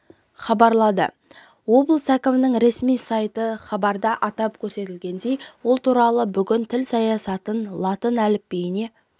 хабарлады облыс әкімінің ресми сайты хабарда атап көрсетілгендей ол туралы бүгін тіл саясаты латын әліпбиіне